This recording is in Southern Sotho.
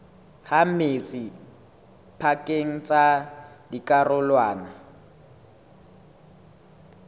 ha metsi pakeng tsa dikarolwana